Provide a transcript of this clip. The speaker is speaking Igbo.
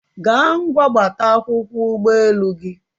gaa ngwa gbata akwụkwọ ụgbọelu gị